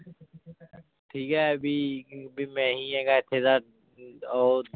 ਠੀਕ ਹੈ ਵੀ ਕਿ ਵੀ ਮੈਂ ਹੀ ਹੈਗਾ ਇੱਥੇ ਦਾ ਅਮ ਉਹ